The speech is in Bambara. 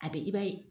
A bɛ i b'a ye